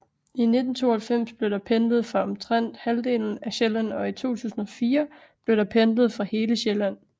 I 1992 blev der pendlet fra omtrent halvdelen af Sjælland og i 2004 blev der pendlet fra hele Sjælland